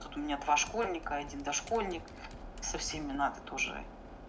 тут у меня два школьника и один дошкольник со всеми надо тоже